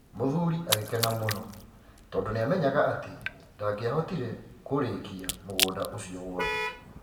Mũthuri agĩkena mũno tondũ nĩamenyaga atĩ nda ngĩahotire kũũrĩkia mũgũnda ũcio wothe.